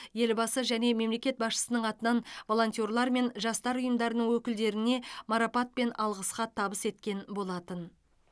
елбасы және мемлекет басшысының атынан волонтерлер мен жастар ұйымдарының өкілдеріне марапат пен алғыс хат табыс еткен болатын